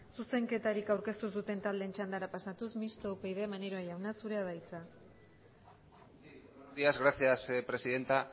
zuzenketarik aurkeztu ez duten taldeen txandara pasatuz mistoa upyd maneiro jauna zurea da hitza buenos días gracias presidenta